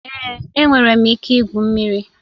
Èé, enwere m ike igwu mmiri